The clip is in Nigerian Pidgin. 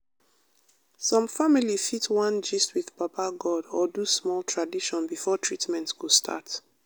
some family fit wan gist with baba god or do small tradition before treatment go start.